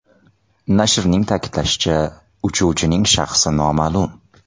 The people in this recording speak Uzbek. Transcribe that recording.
Nashrning ta’kidlashicha, uchuvching shaxsi noma’lum.